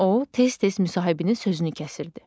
O, tez-tez müsahibinin sözünü kəsirdi.